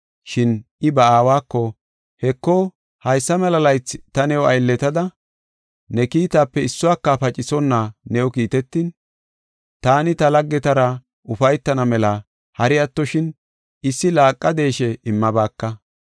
Shin I ba aawako, ‘Heko, haysa mela laythi ta new aylletada ne kiitaape issuwaka pacisonna new kiitetin, taani ta laggetara ufaytana mela hari attoshin issi laaqa deeshe immabaaka.